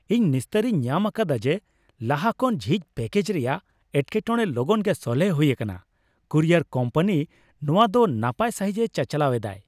ᱤᱧ ᱱᱤᱥᱛᱟᱹᱨᱤᱧ ᱧᱟᱢ ᱟᱠᱟᱫᱟ ᱡᱮ ᱞᱟᱦᱟ ᱠᱷᱚᱱ ᱡᱷᱤᱡᱽ ᱯᱮᱠᱮᱡᱽ ᱨᱮᱭᱟᱜ ᱮᱴᱠᱮᱴᱚᱲᱮ ᱞᱚᱜᱚᱱ ᱜᱮ ᱥᱚᱞᱦᱮ ᱦᱩᱭ ᱟᱠᱟᱱᱟ ᱾ ᱠᱩᱨᱤᱭᱟ ᱠᱳᱢᱯᱟᱱᱤ ᱱᱚᱶᱟᱫᱚ ᱱᱟᱯᱟᱭ ᱥᱟᱹᱦᱤᱡᱽᱼᱮ ᱪᱟᱪᱟᱞᱟᱣ ᱮᱫᱟᱭ ᱾